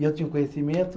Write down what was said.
E eu tinha o conhecimento.